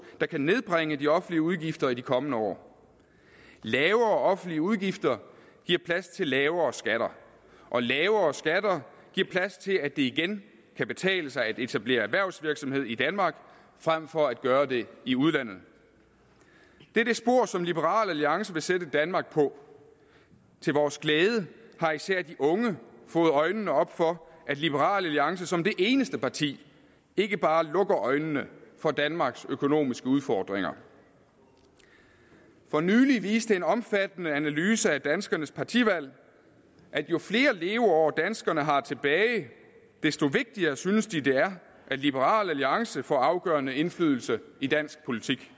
der kan nedbringe de offentlige udgifter i de kommende år lavere offentlige udgifter giver plads til lavere skatter og lavere skatter giver plads til at det igen kan betale sig at etablere erhvervsvirksomhed i danmark frem for at gøre det i udlandet det er det spor som liberal alliance vil sætte danmark på til vores glæde har især de unge fået øjnene op for at liberal alliance som det eneste parti ikke bare lukker øjnene for danmarks økonomiske udfordringer for nylig viste en omfattende analyse af danskernes partivalg at jo flere leveår danskerne har tilbage desto vigtigere synes de det er at liberal alliance får afgørende indflydelse i dansk politik